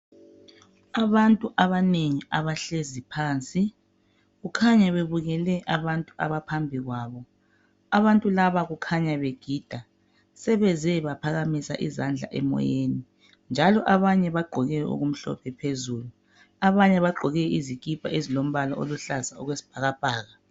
Abantu abanengi abahlezi phansi kukhanya bebukele abantu abaphambi kwabo. Abantu laba kukhanya begida sebeze baphakamisa izandla emoyeni abanye bagqoke okumlophe phezulu abanye bagqoke okulombala oyisibhakabhaka.